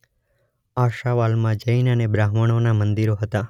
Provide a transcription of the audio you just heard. આશાવાલમાં જૈન અને બ્રાહ્મણોનાં મંદિરો હતા.